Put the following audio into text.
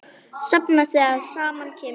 Safnast þegar saman kemur.